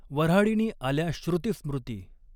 वर्हाडिणी आल्या श्रुतिस्मृती।